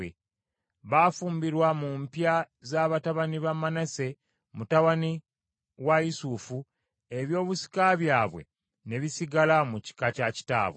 Baafumbirwa mu mpya za batabani ba Manase mutabani wa Yusufu, ebyobusika byabwe ne bisigala mu kika kya kitaabwe.